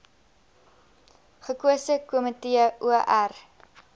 gekose komitee or